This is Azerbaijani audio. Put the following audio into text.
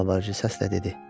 Yalvarıcı səslə dedi.